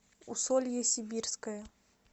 усолье сибирское